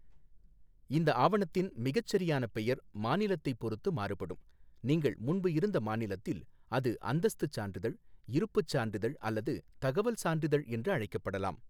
இந்த ஆவணத்தின் மிகச்சரியான பெயர் மாநிலத்தைப் பொறுத்து மாறுபடும், நீங்கள் முன்பு இருந்த மாநிலத்தில் அது அந்தஸ்துச் சான்றிதழ், இருப்புச் சான்றிதழ் அல்லது தகவல் சான்றிதழ் என்று அழைக்கப்படலாம்.